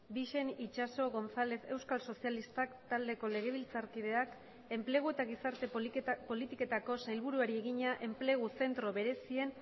bixen itxaso gonzález euskal sozialistak taldeko legebiltzarkideak enplegu eta gizarte politiketako sailburuari egina enplegu zentro berezien